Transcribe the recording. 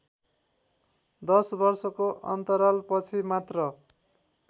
दश वर्षको अन्तरालपछि मात्र